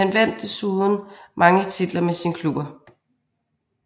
Han vandt desuden mange titler med sine klubber